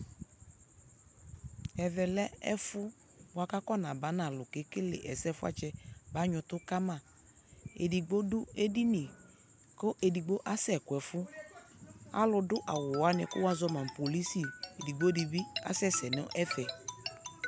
Ɛvɛ lɛ ɛfu bua kʋ afɔnaba nʋ alʋ kʋ ekele ɛsɛ fuatsɛ banyɔ ʋtʋ kama Edigbo dʋ edini kʋ edigbo asɛkʋ ɛfu Alʋ dʋ awuwani kʋ wazɔma nʋ polisi, edigbo dι bι asɛsɛ nʋ ɛfɛ